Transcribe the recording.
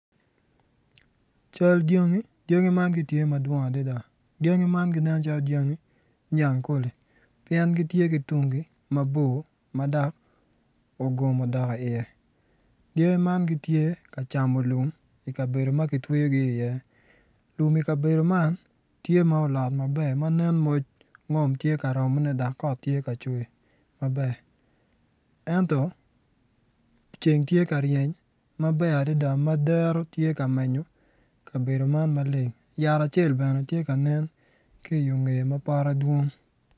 Cal dyangi, dyangi man gidwong adada dyangi man ginen calo dyangi nyangkole pien gitye ki tung mabor ma dok ogom odok iye dyangi gitye ka camo lum i kabedo ma kitweyogi iye lum i kabedo man tye ma olot maber ma moc ngom tye ka romone dok kot tye ka cwer maber ento ceng tye ka reny maber adada ma dero tye ka menyo kabedo man maleng yat acel bene tye ka nen ki i yo ngeye